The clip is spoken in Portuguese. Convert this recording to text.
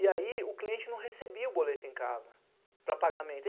E aí o cliente não recebia o boleto em casa para pagamento.